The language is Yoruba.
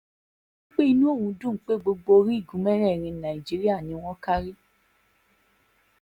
ó ní inú òun dùn pé gbogbo orígun mẹ́rẹ̀ẹ̀rin nàìjíríà ni wọ́n kárí